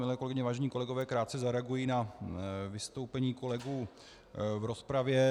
Milé kolegyně, vážení kolegové, krátce zareaguji na vystoupení kolegů v rozpravě.